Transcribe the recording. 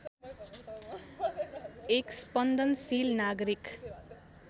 एक स्पन्दनशील नागरिक